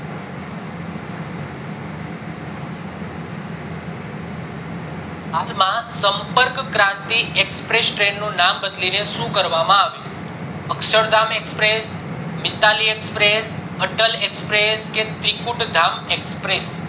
હાલ માં Sampark Kranti express train નું નામ બદલીને શું કરવામાં આવ્યું છે? Akshardham express, Mitali express, Atal express, કે ત્રીકુતધામ express ચલો